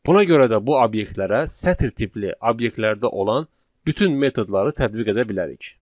Buna görə də bu obyektlərə sətir tipli obyektlərdə olan bütün metodları tətbiq edə bilərik.